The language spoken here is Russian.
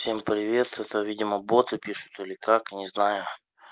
всем привет это видимо боты пишут или как не знаю